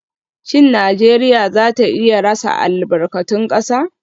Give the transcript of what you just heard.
Shin Najeriya za ta iya rasa albarkatun kasa?